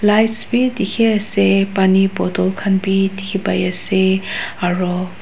lights bi dikhi ase pani bottle khan bi dikhi pai ase aro--